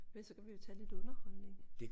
Men så kan vi jo tage lidt underholdning